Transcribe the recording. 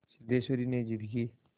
सिद्धेश्वरी ने जिद की